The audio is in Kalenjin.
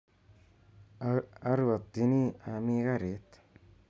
Arwatini ami garit